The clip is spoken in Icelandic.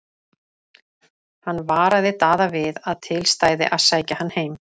Hann varaði Daða við að til stæði að sækja hann heim.